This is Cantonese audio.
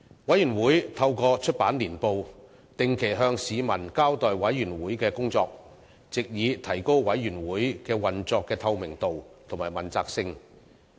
委員會透過出版年報，定期向市民交代委員會的工作，藉以提高委員會運作的透明度及問責性。